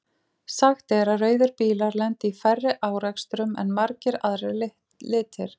Sagt er að rauðir bílar lendi í færri árekstrum en margir aðrir litir.